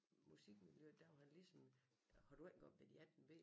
Musikmiljøet der var han ligesom har du ikke oppe været i 18b